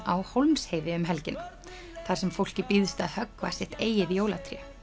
á Hólmsheiði um helgina þar sem fólki býðst að höggva sitt eigið jólatré